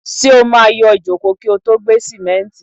Ṣé o máa yọ ìjókòó kí o tó gbé sìmẹ́ǹtì?